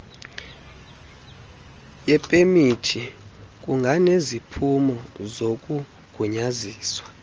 yepemithi kunganeziphumo zokunqunyanyiswa